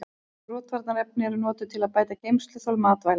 Rotvarnarefni eru notuð til að bæta geymsluþol matvæla.